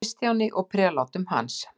Kristjáni og prelátum hans.